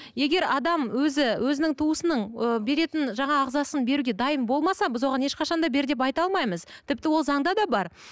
егер адам өзі өзінің туысының ы беретін жаңағы ағзасын беруге дайын болмаса біз оған ешқашан да бер деп айта алмаймыз тіпті ол заңда да бар